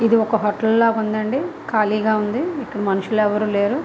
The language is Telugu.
ఇది ఒక హోటల్ లాగా ఉంది అంది. కాలీగా ఉంది ఇక్కడ మనుషులు ఎవరు లేరు.